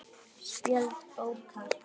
Spjöld bókar